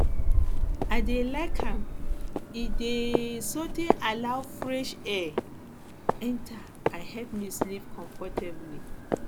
i dey like am e dey um allow um fresh um air enter and help me sleep comfortably